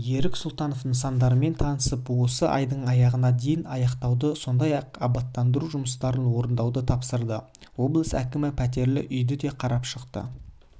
ерік сұлтанов нысандармен танысып осы айдың аяғына дейін аяқтауды сондай-ақ абаттандыру жұмыстарын орындауды тапсырды облыс әкімі пәтерлі үйді де қарап шықты